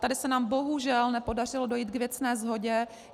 Tady se nám bohužel nepodařilo dojít k věcné shodě.